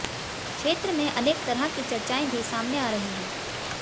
क्षेत्र में अनेक तरह की चर्चाएं भी सामने आ रही हैं